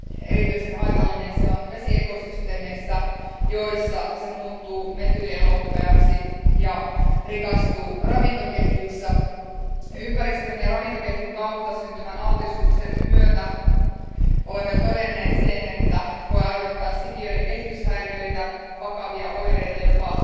Erityisen haitallinen se on vesiekosysteemeissä, joissa se muuttuu metyylielohopeaksi ja rikastuu ravintoketjuissa. Ympäristön ja ravintoketjun kautta syntyvän altistuksen myötä olemme jo todenneet, että elohopea voi aiheuttaa sikiöiden kehityshäiriöitä ja vakavia oireita, jopa